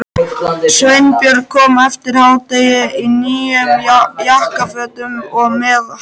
Sveinbjörn kom eftir hádegi í nýjum jakkafötum og með hatt.